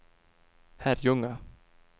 Herrljunga